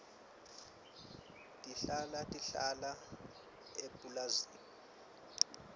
tihlala tihlala emapulazini